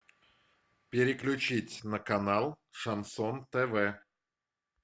переключить на канал шансон тв